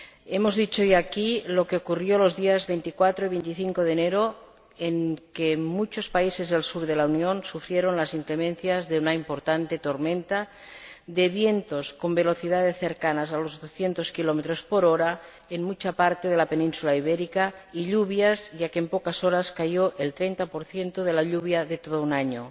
Hemos dicho ya, aquí, lo que ocurrió los días 24 y 25 de enero, en que muchos países del sur de la Unión sufrieron las inclemencias de una importante tormenta de vientos, con velocidades cercanas a los doscientos kilómetros por hora en gran parte de la Península Ibérica, y lluvias, ya que en pocas horas cayó el 30 de la lluvia de todo un año.